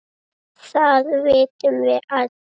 Það vitum við öll.